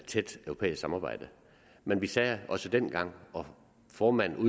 tæt europæisk samarbejde men vi sagde også dengang og formanden